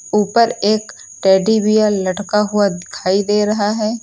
ऊपर एक teddy bear लटका हुआ दिखाई दे रहा है।